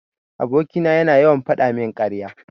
Aboki na yana yawan fadamin karya.